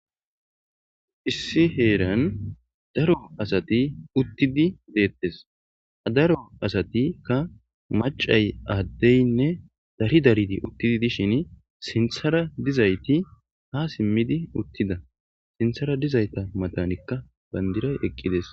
Issi heranni daro asati uttidi detees.ha daro asatikka macayi adeyinne Dari Darid uttidi dishin sinththera dizayitti ha simidi uttida .sinththera uttidayita matankka banidirayi uttides.